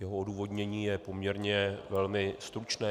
Jeho odůvodnění je poměrně velmi stručné.